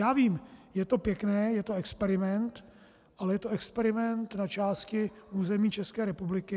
Já vím, je to pěkné, je to experiment, ale je to experiment na části území České republiky.